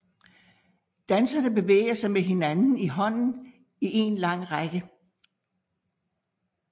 Danserne bevæger sig med hinanden i hånden i en lang række